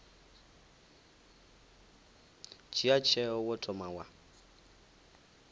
dzhia tsheo wo thoma wa